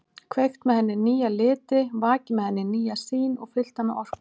Kveikt með henni nýja liti, vakið með henni nýja sýn og fyllt hana orku.